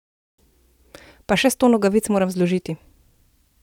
Pa še sto nogavic moram zložiti!